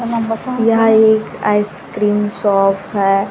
यह एक ice cream shop है।